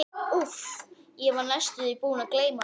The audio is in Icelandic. Úff, ég var næstum því búinn að gleyma því.